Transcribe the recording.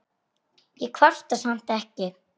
Ég kvarta samt ekki.